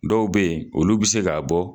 Dɔw bɛ ye olu bɛ se ka bɔ.